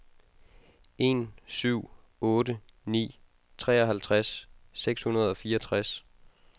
en syv otte ni treoghalvtreds seks hundrede og fireogtres